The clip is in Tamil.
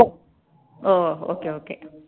O okay okay